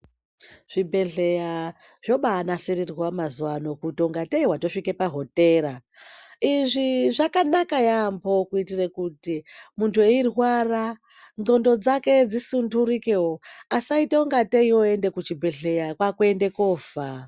Zvibhedhleya zvombanasirirwa kuita kungatei watosvika pahotera izvi zvakanaka yampho kuitire kuti munthu eirwara ndxondo dzake dzisundurikewo asaite kungatei woenda kuchibhedhleya kwakuende kofa.